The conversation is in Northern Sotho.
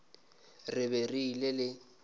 re be re ile le